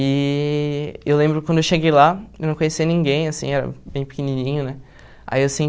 E eu lembro quando eu cheguei lá, eu não conhecia ninguém, assim, era bem pequenininho, né? Aí eu